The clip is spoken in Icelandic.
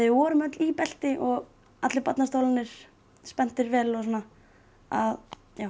við vorum öll í belti og allir barnastólarnir spenntir vel og svona að